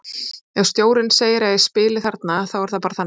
Ef stjórinn segi að ég spili þarna þá er það bara þannig.